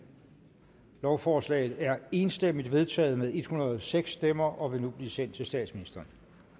lovforslaget er enstemmigt vedtaget med en hundrede og seks stemmer og vil nu blive sendt til statsministeren